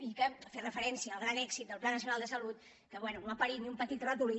i fer referència al gran èxit del pla na·cional de salut que bé no ha parit ni un petit ratolí